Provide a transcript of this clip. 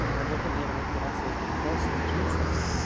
на работе наверное стирать свои кроссы и джинсы